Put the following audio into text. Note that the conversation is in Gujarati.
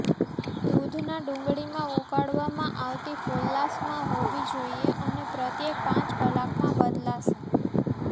દૂધના ડુંગળીમાં ઉકાળવામાં આવતી ફોલ્લાશમાં હોવી જોઈએ અને પ્રત્યેક પાંચ કલાકમાં બદલાશે